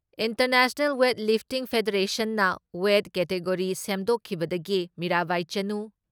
international weight lifting ꯐꯦꯗꯔꯦꯁꯟꯅ weight category ꯁꯦꯝꯗꯣꯛꯈꯤꯕꯗꯒꯤ ꯃꯤꯔꯥꯕꯥꯏ ꯆꯅꯨ